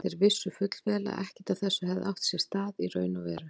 Þeir vissu fullvel að ekkert af þessu hefði átt sér stað í raun og veru.